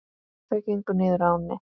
Þau gengu niður að ánni.